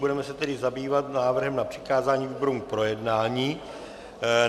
Budeme se tedy zabývat návrhem na přikázání výborům k projednání.